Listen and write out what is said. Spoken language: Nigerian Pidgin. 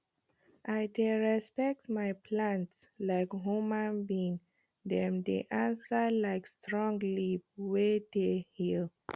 i dey respect my plants like human being dem dey answer like strong leaf wey dey heal